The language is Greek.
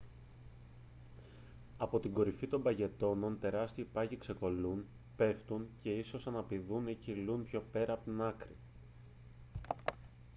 από την κορυφή των παγετώνων τεράστιοι πάγοι ξεκολλούν πέφτουν και ίσως αναπηδούν ή κυλούν πιο πέρα από την άκρη